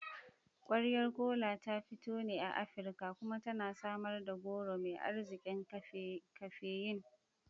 Kwayar Kola ta fito ne a Afirka kuma tana samar da goro mai arzikin kafeyin.